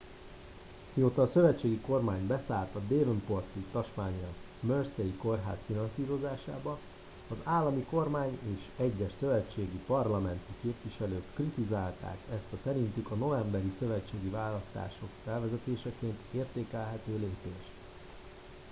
mióta a szövetségi kormány beszállt a devonporti tasmánia mersey kórház finanszírozásába az állami kormány és egyes szövetségi parlamenti képviselők kritizálták ezt a szerintük a novemberi szövetségi választások felvezetéseként értékelhető lépést